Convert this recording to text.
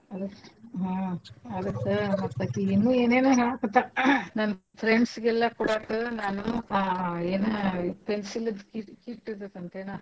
ಅದ ಹ್ಮ್ ಅದಕ್ಕ ಮತ್ತ್ ಅಕಿ ಇನ್ನೂ ಏನೆೇನ ಹೇಳಕತ್ತಳ ನನ್ friends ಗೆ ಎಲ್ಲಾ ಕೊಡಾಕ ನಾನೂ ಆ~ ಎನ pencil ದ್ದ್ kit kit ಇರ್ತೇತಂತೆೇನ.